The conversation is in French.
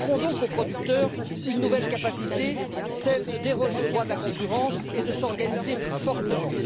Nous offrons donc aux producteurs une nouvelle capacité, celle de déroger au droit de la concurrence et de s'organiser plus fortement.